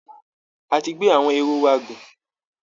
A ti gbé àwọn ehoro wa gùn